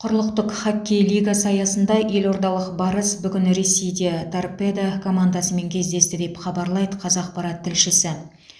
құрлықтық хоккей лигасы аясында елордалық барыс бүгін ресейде торпедо командасымен кездесті деп хабарлайды қазақпарат тілшісі